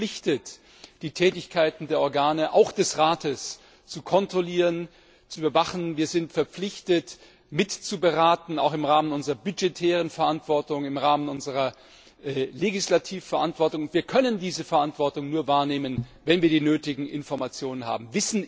Wir sind verpflichtet, die Tätigkeiten der Organe auch des Rates zu kontrollieren und zu überwachen. Wir sind verpflichtet mitzuberaten, auch im Rahmen unserer budgetären Verantwortung, im Rahmen unserer legislativen Verantwortung. Wir können diese Verantwortung nur wahrnehmen, wenn wir die nötigen Informationen haben.